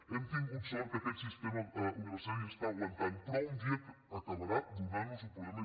hem tingut sort que aquest sistema universitari està aguantant però un dia acabarà donant nos un problema